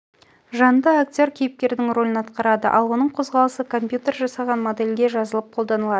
жанды актер кейіпкердің рөлін атқарады ал оның қозғалысы компьютер жасаған модельге жазылып қолданылады